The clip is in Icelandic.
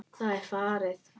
Það er farið!